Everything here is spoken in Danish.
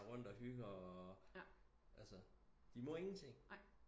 Render rundt og hygge og altså de må ingen ting